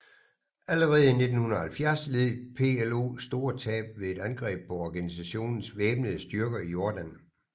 Allerede i 1970 led PLO store tab ved et angreb på organisationens væbnede styrker i Jordan